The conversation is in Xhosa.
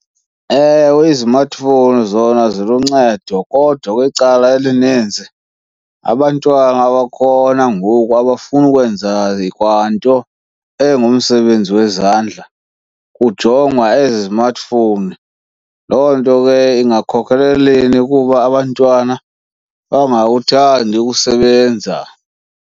Ewe, izimatfowuni zona ziluncedo kodwa kwicala elininzi abantwana abakhona ngoku abafuni ukwenza kwanto engumsebenzini wezandla kujongwa ezi zimatfowuni. Loo nto ke ingakhokheleleni ukuba abantwana bangakhuthandi ukusebenza.